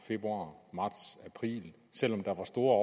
februar marts april selv om der var store